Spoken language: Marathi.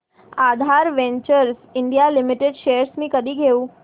आधार वेंचर्स इंडिया लिमिटेड शेअर्स मी कधी घेऊ